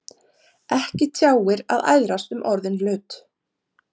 Ekki tjáir að æðrast um orðinn hlut.